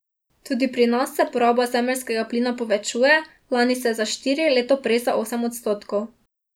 Tudi pri nas se poraba zemeljskega plina povečuje, lani se je za štiri, leto prej za osem odstotkov.